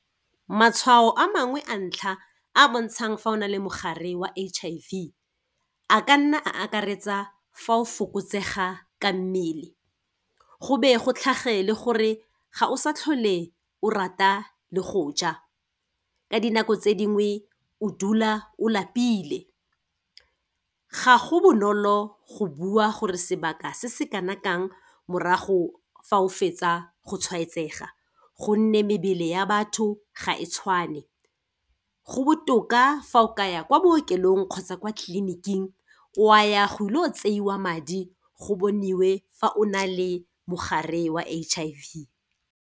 Matshwao a mangwe a ntlha, a bontshang fa o na le mogare wa H_I_V a ka nna a akaretsa, fa o fokotsega ka mmele, go be go tlhage le gore, ga o sa tlhole o rata le go ja, ka dinako tse dingwe, o dula o lapile. Ga go bonolo go bua gore sebaka se se kana kang, morago fa o fetsa go tshwaetsega gonne mebele ya batho ga e tshwane. Go botoka fa o ka ya kwa bookelong kgotsa kwa tleliniking, o a ya go ilo tseiwa madi, go boniwe fa o na le mogare wa H_I_V.